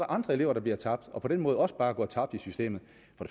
andre elever der bliver tabt og på den måde også bare går tabt i systemet